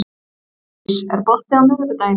Bergdís, er bolti á miðvikudaginn?